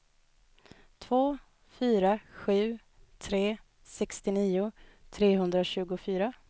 två fyra sju tre sextionio trehundratjugofyra